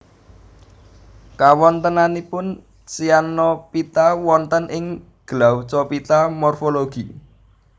Kawontenanipun Cyanophyta wonten ing Glaucophyta morfologi